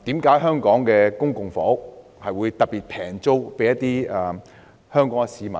為何香港的公共房屋會以特別低廉的租金租給香港市民呢？